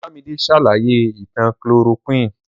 Olámidé ṣàlàyé ìtàn chloroquine.